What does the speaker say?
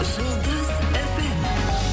жұлдыз фм